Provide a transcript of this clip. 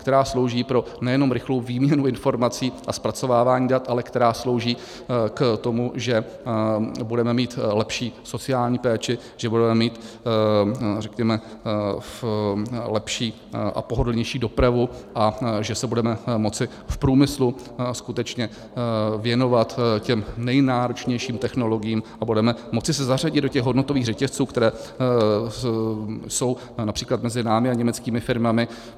Která slouží pro nejenom rychlou výměnu informací a zpracovávání dat, ale která slouží k tomu, že budeme mít lepší sociální péči, že budeme mít, řekněme, lepší a pohodlnější dopravu a že se budeme moci v průmyslu skutečně věnovat těm nejnáročnějším technologiím a budeme moci se zařadit do těch hodnotových řetězců, které jsou například mezi námi a německými firmami.